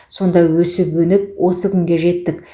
сонда өсіп өніп осы күнге жеттік